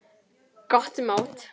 Gott mót.